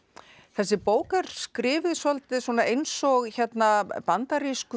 þessi bók er skrifuð svolítið eins og bandarísku